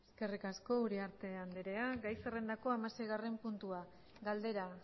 eskerrik asko uriarte andrea gai zerrendako hamaseigarren puntua galdera